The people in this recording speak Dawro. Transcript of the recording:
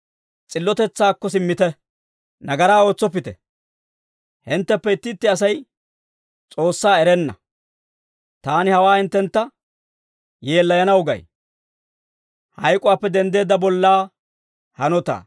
S'illotetsaakko simmite. Nagaraa ootsoppite. Hinttenttuppe itti itti Asay S'oossaa erenna; taani hawaa hinttentta yeellayanaw gay.